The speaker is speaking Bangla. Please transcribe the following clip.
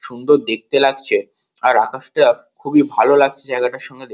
সুন্দর দেখতে লাগছে আর আকাশটা খুবই ভালো লাগছে জায়গাটার সঙ্গে দেখ--